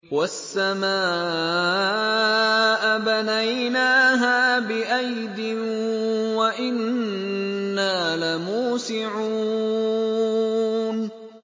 وَالسَّمَاءَ بَنَيْنَاهَا بِأَيْدٍ وَإِنَّا لَمُوسِعُونَ